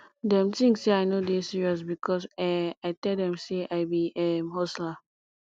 dem tink sey i no dey serious because um i tell dem sey i be um hustler